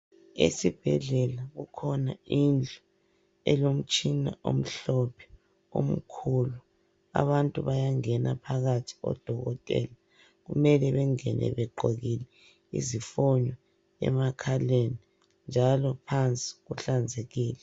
Esibhedlela kukhona indlu elomtshina omhlophe omkhulu. Abantu bayangena phakathi, odokotela kumele bengene begqokile izifonyo emakhaleni njalo phansi kuhlanzekile.